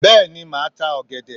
Bẹ́ẹ̀ni màá ta ọ̀gẹ̀dẹ̀.